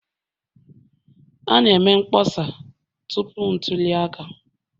A na-eme mkpọsa tupu ntuli aka